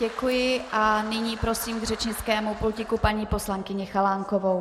Děkuji a nyní prosím k řečnickému pultu paní poslankyni Chalánkovou.